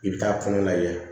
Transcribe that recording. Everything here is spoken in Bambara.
I bɛ taa kɔnɔ lajɛ